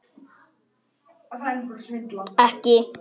Ekki til að tala um.